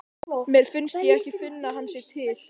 Mér finnst ég ekki finna að hann sé til.